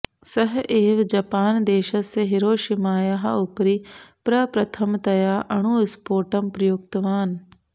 सः एव जपान् देशस्य हिरोशिमायाः उपरि प्रप्रथमतया अणुस्पोटम् प्रयुक्तवान्